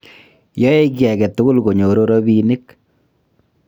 yoe kiy age tugul konyoru robinik